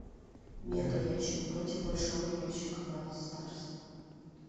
мега ящик против большого ящика бравл старс